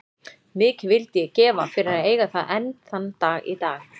Mikið vildi ég gefa fyrir að eiga það enn þann dag í dag.